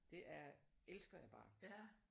Det er elsker jeg bare